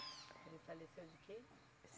Ele faleceu de quê?